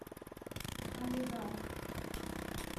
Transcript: алигарх